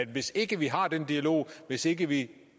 hvis ikke vi har den dialog hvis ikke vi